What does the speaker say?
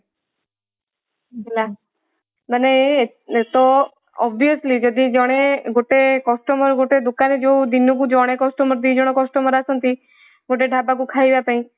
ହେଲା ମାନେ ତ obviously ଯଦି ଜଣେ ଗୋଟେ customer ଗୋଟେ ଦୋକାନୀ ଯୋଉ ଦିନକୁ ଜଣେ customer ଦୁଇଜଣ customer ଆସନ୍ତି ଗୋଟେ ଢାବା କୁ ଖାଇବା ପାଇଁ